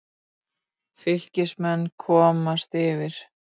Fylkismenn komast yfir.